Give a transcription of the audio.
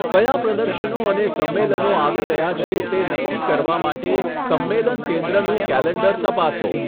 કયા પ્રદર્શનો અને સમ્મેલનો આવી રહ્યા છે તે નક્કી કરવા માટે સંમેલન કેન્દ્રનું કૅલેન્ડર તપાસો.